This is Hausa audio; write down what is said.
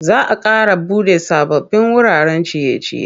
Za a ƙara buɗe sababbin wuraren ciye-ciye.